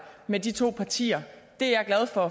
med de to partier det er jeg glad for